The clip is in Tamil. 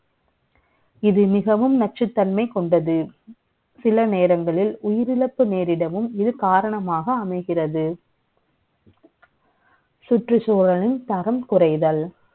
இது மிகவும் நச்சுத்தன்மை க ொண்டது. சில நே ரங்களில் உயிரிழப்பு நே ரிடவும் இது காரணமாக அமை கிறது. சுற்றுச்சூழலின் தரம் குறை தல். சுற்றுச்சூழலின் தரம் குறை தல் என்பது